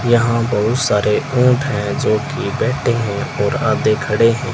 यहां बहुत सारे ऊंट है जो की बैठे हैं और आधे खड़े हैं।